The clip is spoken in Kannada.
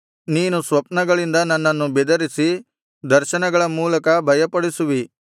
ನೀನು ಸ್ವಪ್ನಗಳಿಂದ ನನ್ನನ್ನು ಬೆದರಿಸಿ ದರ್ಶನಗಳ ಮೂಲಕ ಭಯಪಡಿಸುವಿ